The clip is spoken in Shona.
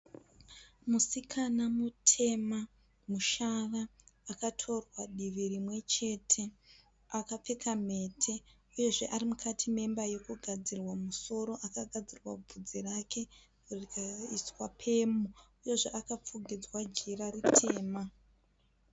Musikana mutema mushava, akatorwa divi rimwe chete akapfeka mhete. Uye zve arimukati memba yekugadzirwa musoro akagadzirwa vudzi rake rikaiswa pemu. Uye zve akapfukidzwa jira ritema.